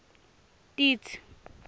titsi